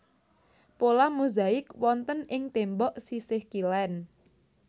Pola mozaik wonten ing tembok sisih kilèn